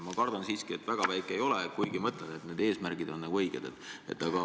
Ma kardan siiski, et väga väike ei ole, kuigi ma ütlen, et need eesmärgid on õiged.